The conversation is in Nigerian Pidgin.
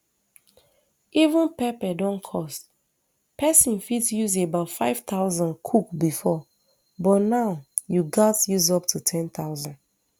even pepper don cost pesin fit use about five thousand cook bifor but now you gatz use up to ten thousand